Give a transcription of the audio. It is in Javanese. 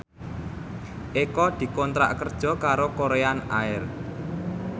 Eko dikontrak kerja karo Korean Air